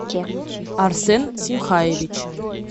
арсен симхаевич